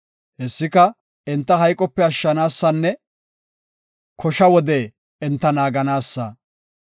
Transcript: Hessika enta hayqope ashshanaasanne kosha wode enta naaganaassa.